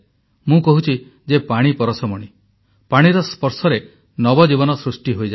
ମୁଁ କହୁଛି ଯେ ପାଣି ପରଶମଣି ପାଣିର ସ୍ପର୍ଶରେ ନବଜୀବନ ସୃଷ୍ଟି ହୋଇଯାଏ